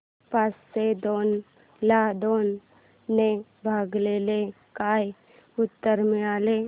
पाचशे दोन ला दोन ने भागल्यास काय उत्तर मिळेल